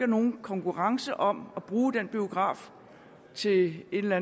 nogen konkurrence om at bruge den biograf til et eller